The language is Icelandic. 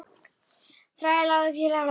Þræll eða fíkill.